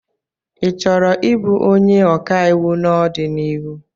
Ị chọrọ ị bụ onye ọkàiwụ n'ọdịnihu?